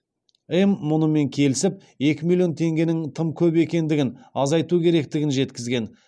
м мұнымен келісіп екі миллион теңгенің тым көп екендігін азайту керектігін жеткізген